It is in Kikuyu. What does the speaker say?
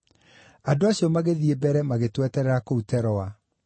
Andũ acio magĩthiĩ mbere magĩtweterera kũu Teroa.